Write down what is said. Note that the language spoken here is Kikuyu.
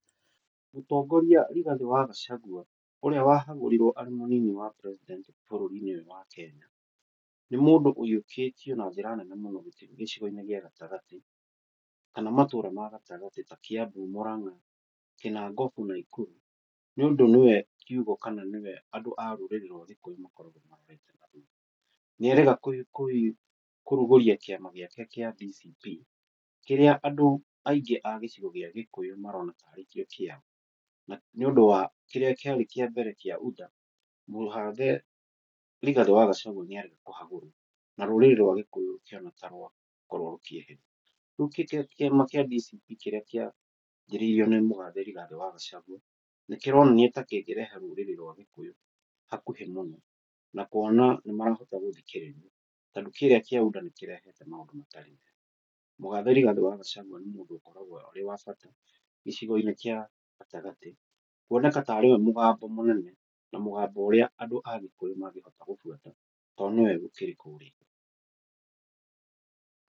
Mũtongoria Rigathĩ wa Gacagua, ũrĩa wahagũrirwo arĩ mũnini wa president bũrũri-inĩ ũyũ wa Kenya, nĩ mũndũ ũhiũkĩtio na njĩra nene mũno gĩcigo-inĩ gĩa gatagatĩ, kana matũra magatagatĩ ta Kĩambu, Mũrang'a, Kĩnangobu, Naikuru, nĩũndũ nĩ we kĩugo kana nĩwe andũ a rũrĩrĩ rwa gĩkũyũ makoragwo mahete. Nĩerĩga kũrugũria kĩama gĩake gĩa DCP, kĩrĩa andũ aingĩ a gĩcigo gĩa gĩkuyu marona tarĩ kĩo kĩao, nĩũndũ wa kĩrĩa kĩ arĩ mbere kĩa UDA, mũgathe Rigathĩ wa Gacagua narĩ kũhagũrwo na rũrĩrĩ rwa gĩkũyũ rũkĩhana ta rwakorwo rũkĩeherio. Rĩu kĩa DCP kĩrĩa anjĩrĩirio nĩ mũgathe Rigathĩ wa Gacagua nĩkĩronania ta kĩngĩrehe rũrĩrĩ rwa gĩkũyũ hakuhĩ mũno na kuona nĩ marahota gũthikĩrĩria, tondũ kĩrĩa kĩa UDA nĩ kĩrehete maũndũ matarĩ mega, mũgathe Rigathĩ wa Gacagua nĩ mũndũ akoragwo arĩ wa bata gĩcigo-inĩ gĩa gatagatĩ kuoneka tarĩ we mũgambo mũnene, na mũgambo ũrĩa andũ a gĩkũyũ mangĩhota gũbuata to nĩwe ũkĩrĩ kũrĩa.